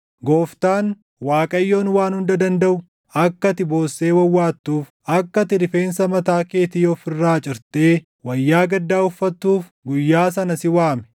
Gooftaan, Waaqayyoon Waan Hunda Dandaʼu, akka ati boossee wawwaattuuf, akka ati rifeensa mataa keetii of irraa cirtee wayyaa gaddaa uffatuuf guyyaa sana si waame.